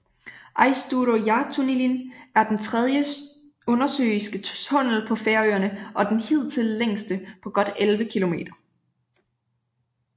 Eysturoyartunnilin er den tredje undersøiske tunnel på Færøerne og den hidtil længste på godt elleve kilometer